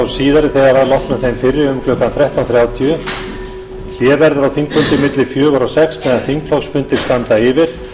síðari þegar að loknum þeim fyrri um klukkan þrettán þrjátíu hlé verður á þingfundum milli fjögur og sex þegar þingflokksfundir standa yfir